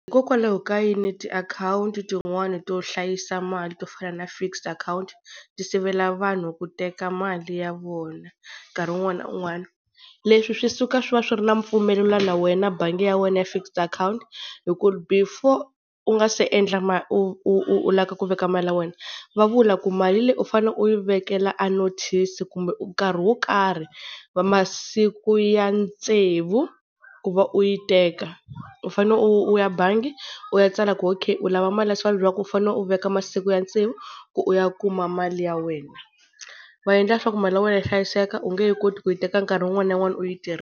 Hikokwalaho ka yini tiakhawunti tin'wani to hlayisa mali, to fana na fixed akhawunti, ti sivela vanhu ku teka mali ya vona nkarhi un'wana na un'wana? Leswi swi suka swi va swi ri na mpfumelo na wena na bangi ya wena ya fixed akhawunti. Hi ku before u nga se endla u lavaka ku veka mali ya wena va vula ku mali leyi u fane u yi vekela a notice kumbe nkarhi wo karhi masiku ya tsevu ku va u yi teka. U fanele u ya bangi u ya tsala ku okay u lava mali ya so, va ku u fanele u veka masiku ya tsevu ku u ya kuma mali ya wena. Va endla leswaku mali ya wena yi hlayiseka u nge he koti ku yi teka nkarhi un'wana na un'wana u yi .